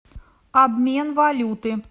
обмен валюты